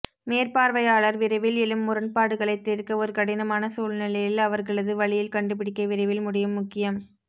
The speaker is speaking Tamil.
மேற்பார்வையாளர் விரைவில் எழும் முரண்பாடுகளைத் தீர்க்க ஒரு கடினமான சூழ்நிலையில் அவர்களது வழியில் கண்டுபிடிக்க விரைவில் முடியும் முக்கியம்